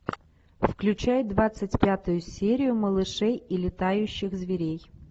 включай двадцать пятую серию малышей и летающих зверей